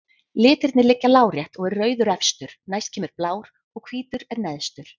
Litirnir liggja lárétt og er rauður efstur, næst kemur blár og hvítur er neðstur.